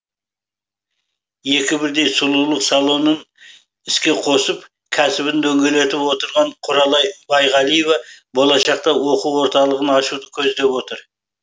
екі бірдей сұлулық салонын іске қосып кәсібін дөңгелетіп отырған құралай байғалиева болашақта оқу орталығын ашуды көздеп отыр